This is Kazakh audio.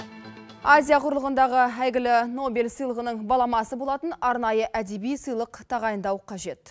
азия құрлығындағы әйгілі нобель сыйлығының баламасы болатын арнайы әдеби сыйлық тағайындау қажет